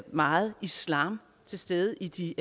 meget islam til stede i de